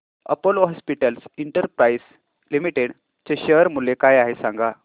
Apollo hospitals enterprise limited चे share मूल्य काय आहे सांगा